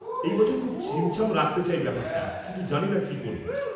-এই বছর খুব ছিমছাম রাখতে চাই ব্যাপারটা কিন্তু জানিনা কী করব।